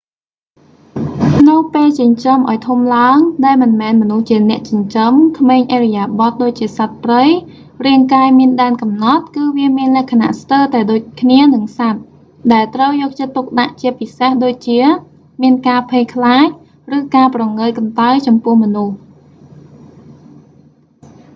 នៅពេលចិញ្ចឹមឱ្យធំឡើង ដែលមិនមែនមនុស្សជាអ្នកចិញ្ចឹម ក្មេងឥរិយាបទដូចជាសត្វព្រៃ រាងកាយមានដែនកំណត់ គឺវាមានលក្ខណៈស្ទើរតែដូចគ្នានឹងសត្វ ដែលត្រូវយកចិត្តទុកដាក់ជាពិសេសដូចជា មានការភ័យខ្លាច ឬការព្រងើយកន្តើយចំពោះមនុស្ស